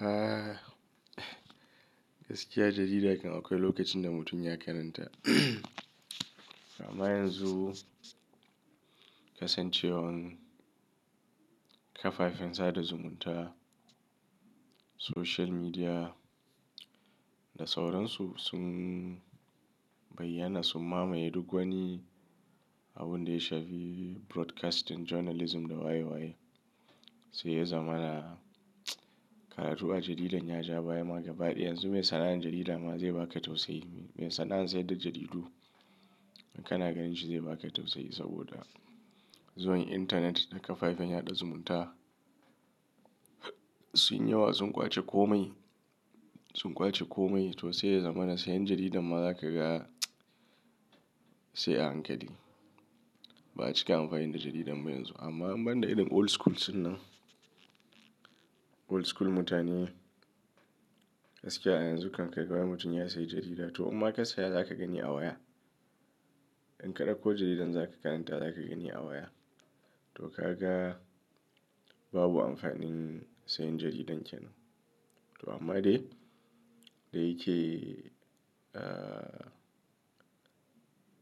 A gaskiya jarida akwai lokacin da mutum ya karanta. Amma yanzu kasancewar kafafen sada zumunta, social media da sauransu sun bayyana sun mamaye duk wani abun da ya shafi broadcasting, journalism da waye waye. Sai ya zama karatu ba jarida, ya ja baya magaba ɗaya. Yanzu mai sana'ar jarida ma zai baka tausayi. Mai sana'an sayar da jaridu in kana ganin shi zai baka tausayi saboda zuwan intanet da kafafen yaɗa zumunta sun yawa, sun ƙwace komai, sun ƙwace komai. To sai ya zama na sayan jarida ma za ka ga sai a hankali. Ba cika amfani da jarida muyi yanzu. Amma banda idan old school suna, old school mutane gaskiya yanzu kanka kai wa mutum ya sayi jarida. To in ma ka saya, za ka gani a waya. In ka ɗauko jaridan za ka karanta, za ka gani a waya. To ka ga babu amfanin sayan jaridan kenan. To amma dai da yake